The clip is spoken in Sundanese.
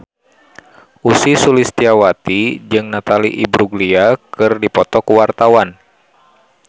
Ussy Sulistyawati jeung Natalie Imbruglia keur dipoto ku wartawan